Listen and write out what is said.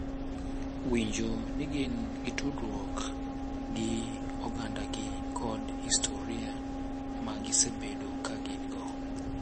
winjo ni gin gi tudruok gi ogandagi kod historia ma gisebedo ka gin-go.